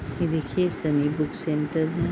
ये देखिये Sunny book centre है |